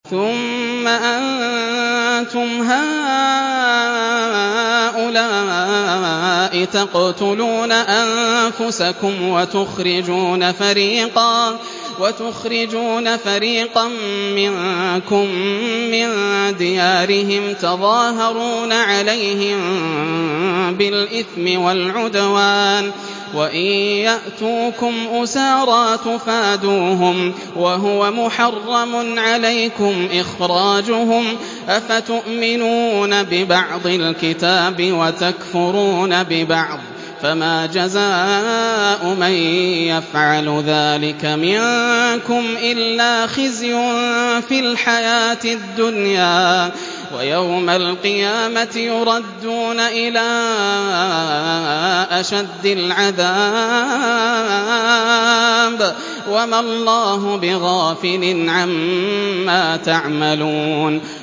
ثُمَّ أَنتُمْ هَٰؤُلَاءِ تَقْتُلُونَ أَنفُسَكُمْ وَتُخْرِجُونَ فَرِيقًا مِّنكُم مِّن دِيَارِهِمْ تَظَاهَرُونَ عَلَيْهِم بِالْإِثْمِ وَالْعُدْوَانِ وَإِن يَأْتُوكُمْ أُسَارَىٰ تُفَادُوهُمْ وَهُوَ مُحَرَّمٌ عَلَيْكُمْ إِخْرَاجُهُمْ ۚ أَفَتُؤْمِنُونَ بِبَعْضِ الْكِتَابِ وَتَكْفُرُونَ بِبَعْضٍ ۚ فَمَا جَزَاءُ مَن يَفْعَلُ ذَٰلِكَ مِنكُمْ إِلَّا خِزْيٌ فِي الْحَيَاةِ الدُّنْيَا ۖ وَيَوْمَ الْقِيَامَةِ يُرَدُّونَ إِلَىٰ أَشَدِّ الْعَذَابِ ۗ وَمَا اللَّهُ بِغَافِلٍ عَمَّا تَعْمَلُونَ